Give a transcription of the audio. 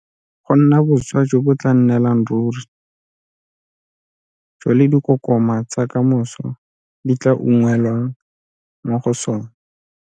Go nna boswa jo bo tla nnelang ruri jo le dikokoma tsa ka moso di tla unngwelwang mo go sona.